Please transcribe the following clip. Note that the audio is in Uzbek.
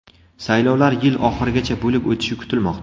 Saylovlar yil oxirigacha bo‘lib o‘tishi kutilmoqda.